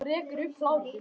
Og rekur upp hlátur.